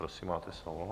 Prosím, máte slovo.